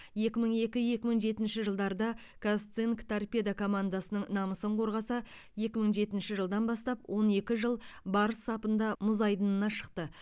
екі мың екі екі мың жетінші жылдарда қазцинк торпедо командасының намысын қорғаса екі мың жетінші жылдан бастап он екі жыл барыс сапында мұз айдынына шықты